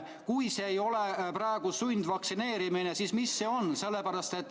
Kui see ei ole sundvaktsineerimine, siis mis see on?